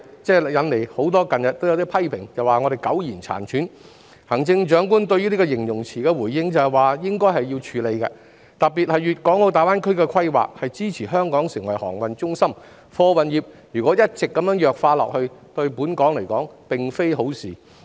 近日有很多批評說我們苟延殘喘，行政長官對這個形容詞的回應是"應該要處理"，特別是粵港澳大灣區的規劃都是支持香港成為航運中心的，如果貨運業一直弱化下去，對香港來說並非好事。